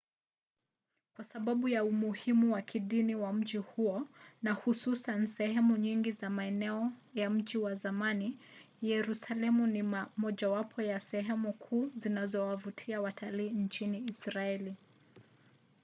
kwa sababu ya umuhimu wa kidini wa mji huo na hususan sehemu nyingi za maeneo ya mji wa zamani yerusalemu ni mojawapo ya sehemu kuu zinazowavutia watalii nchini israeli